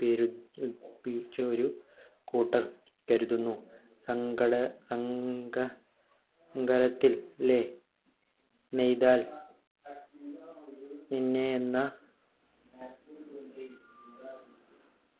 ഒരു കൂട്ടർ കരുതുന്നു അംഗ അംഗ അംഗലത്തിൽ ലെ നെയ്താൽ നിന്നെ എന്ന